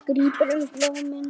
Grípur um blómin.